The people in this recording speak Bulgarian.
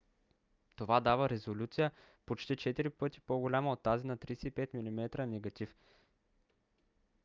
това дава резолюция почти четири пъти по-голяма от тази на 35 mm негатив 3136 mm2 спрямо 864